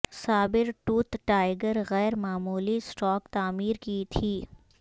صابر tooth tiger غیر معمولی stock تعمیر کی تھی